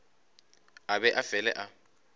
a be a fele a